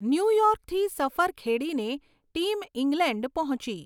ન્યૂયોર્કથી સફર ખેડીને team England પહોંચી.